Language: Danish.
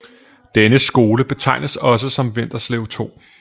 Denne skole betegnes også som Vinterslev 2